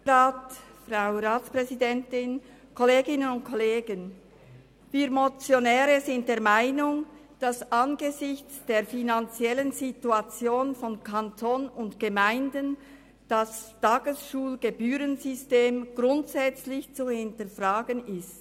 Wir Motionäre sind der Meinung, dass das Tagesschulgebührensystem angesichts der finanziellen Situation von Kanton und Gemeinden grundsätzlich zu hinterfragen ist.